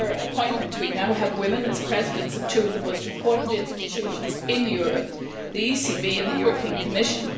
With her appointment we now have women as presidents of two of the most important institutions in Europe, the ECB and the Commission.